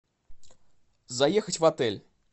заехать в отель